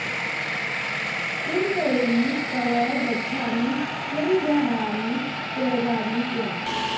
किं करोमि क्व गच्छामि किं गृह्णामि त्यजामि किम्